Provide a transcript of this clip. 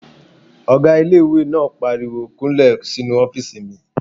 Ọgá ilé-ìwé náà pariwo "kúnlẹ̀ sínu ọ́fìsì mi!"